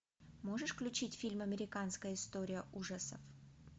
можешь включить фильм американская история ужасов